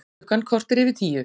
Klukkan korter yfir tíu